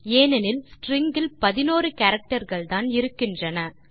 ஏனெனில் ஸ்ட்ரிங் இல் 11 கேரக்டர் கள்தான் இருக்கின்றன